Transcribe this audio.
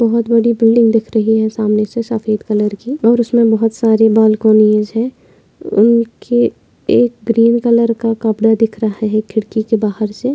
बहुत बड़ी बिल्डिंग दिख रही है। सामने से सफेद कलर की और उसमे बहुत सारी बालकोनीस है। के एक ग्रीन कलर का कपड़ा दिख रहा है खिड़की के बाहर से।